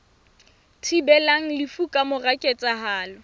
thibelang lefu ka mora ketsahalo